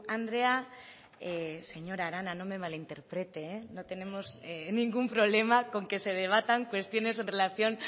andrea señora arana no me malinterprete no tenemos ningún problema con que se debatan cuestiones en relación